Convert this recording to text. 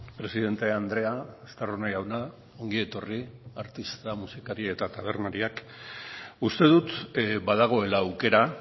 presidente andrea estarrona jauna ongi etorri artista musikari eta tabernariak uste dut badagoela aukera